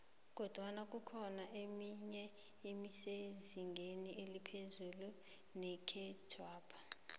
kodwana kukhona emenye esezingeni eliphezu nekhethwapha